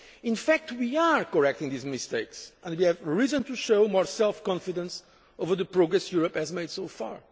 In fact, we are correcting those mistakes, and we have reason to show more self confidence over the progress Europe has made so far.